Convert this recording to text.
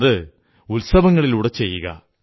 അത് ഉത്സവങ്ങളിലൂടെ ചെയ്യുക